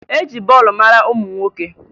E ji bọọlụ mara ụmụ nwoke